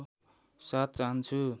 साथ चाहन्छु